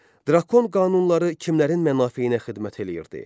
Drakon qanunları kimlərin mənafeyinə xidmət eləyirdi?